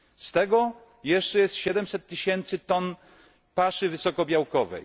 Z tego jest jeszcze 700 tysięcy ton paszy wysokobiałkowej.